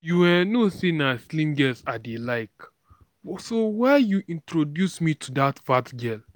you um know say na slim girls i dey like so why you introduce me to dat fat girl